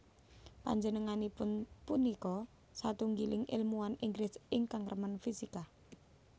Panjenenganipun punika satunggiling èlmuwan Inggris ingkang remen fisika